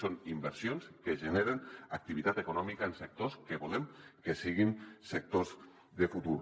són inversions que generen activitat econòmica en sectors que volem que siguin sectors de futur